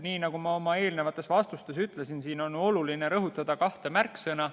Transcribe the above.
Nii nagu ma oma eelnevates vastustes ütlesin, on oluline rõhutada kahte märksõna.